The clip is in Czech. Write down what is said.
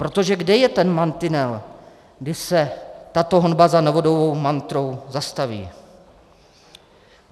Protože kde je ten mantinel, kdy se tato honba za novodobou mantrou zastaví?